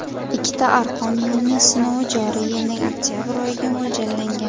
Ikkita arqon yo‘lning sinovi joriy yilning oktabr oyiga mo‘ljallangan.